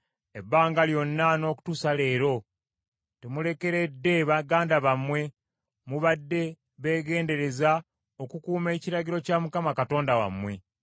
Ebbanga lyonna n’okutuusa leero temulekeredde baganda bammwe, mubadde beegendereza okukuuma ekiragiro kya Mukama Katonda wammwe.